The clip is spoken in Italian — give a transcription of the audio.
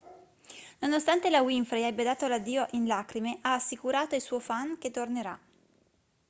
nonostante la winfrey abbia dato l'addio in lacrime ha assicurato ai suo fan che tornerà